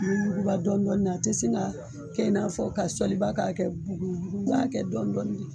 A bɛ yuguba dɔnin dɔɔnin, a tɛ se ka kɛ i n'a fɔ ka soliba k'a kɛ I bɛ kɛ dɔɔnin dɔɔnin de.